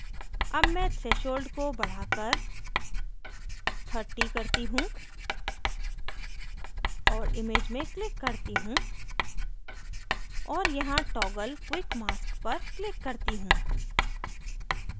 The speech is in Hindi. अब मैं threshold को बढ़ाकर 30 करती हूँ और image में click करती हूँ और यहाँ toggle quick mask पर click करती हूँ